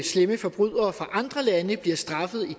slemme forbrydere fra andre lande bliver straffet i